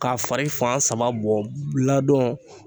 K'a fari fan sama bɔn ladɔn